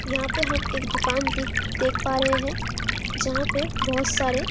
यहाँ पे हम एक दुकान दिख देख पा रहे है जहाँ पे बहोत सारे --